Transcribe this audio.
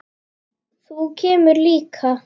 Þú kemur líka!